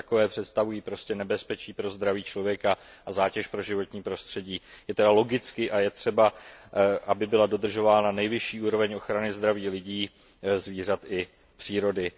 A jako takové představují prostě nebezpečí pro zdraví člověka a zátěž pro životní prostředí. Je tedy logicky třeba, aby byla dodržována nejvyšší úroveň ochrany zdraví lidí, zvířat i přírody.